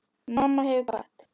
Mamma hefur kvatt.